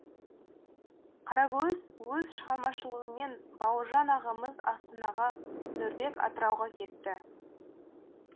қарагөз өз шығармашылығымен бауыржан ағамыз астанаға нұрбек атырауға кетті